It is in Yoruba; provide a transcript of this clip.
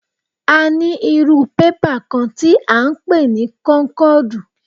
A ní irú bébà kán tí à ń pè ní kónkọ̀dù.